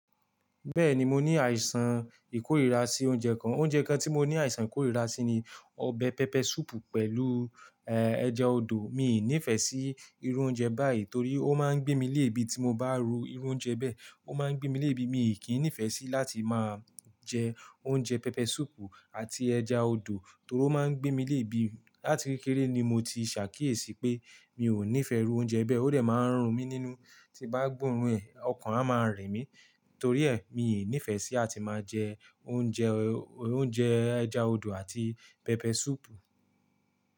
Bẹ́ẹ̀ni, mo ní àìsàn ìkórìíra sí oúnjẹ kan. Oúnjẹ kan tí mo ní àìsàn ìkórìíra sí ni ọbẹ̀ pepper soup pẹ̀lú, eh, ẹja odò. Mi ò ní ìfẹ́ sí irú oúnjẹ báyìí torí ó máa ń gbé mi eebi tí mo bá ro irú oúnjẹ bẹ́ẹ̀. Ó máa ń gbé mi eebi, mi kì nífẹ̀ẹ́ sí láti máa jẹ oúnjẹ pepper soup àti ẹja odò torí ó máa ń gbé mi eebi. Lati kekere ni mo ti ṣàkíyèsí pé mi ò ní ìfẹ́ irú oúnjẹ bẹ́ẹ̀. Ó de máa ń rùn mí nínú, tí bá gbóorun ẹ̀, ọkàn a máa rìn mí. Torí ẹ́, mi ò ní ìfẹ́ sí láti máa jẹ oúnjẹ, oúnjẹ ẹja odò àti pepper soup.